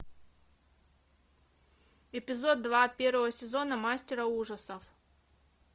эпизод два первого сезона мастера ужасов